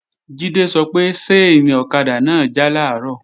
Jídé sọ pé ṣáìnì ọ̀kadà náà já làárọ̀